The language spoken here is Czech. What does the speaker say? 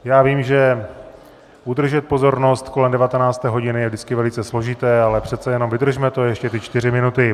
Já vím, že udržet pozornost kolem 19. hodiny je vždycky velice složité, ale přece jenom vydržme to ještě ty čtyři minuty.